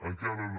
encara no